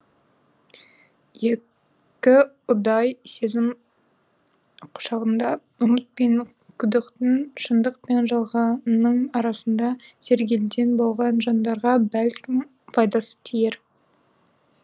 екі ұдай сезім құшағында үміт пен күдіктің шындық пен жалғанның арасында сергелдең болған жандарға бәлкім пайдасы тиер